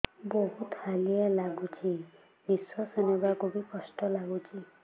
ବହୁତ୍ ହାଲିଆ ଲାଗୁଚି ନିଃଶ୍ବାସ ନେବାକୁ ଵି କଷ୍ଟ ଲାଗୁଚି